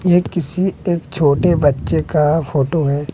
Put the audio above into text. ये किसी एक छोटे बच्चे का फोटो है।